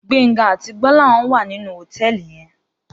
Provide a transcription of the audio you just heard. Gbenga àtí Gbolahan wá ninú hótèlí yèn